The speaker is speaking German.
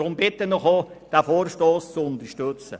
Deshalb bitte ich Sie, den Vorstoss zu unterstützen.